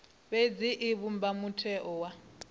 fhedzi i vhumba mutheo wa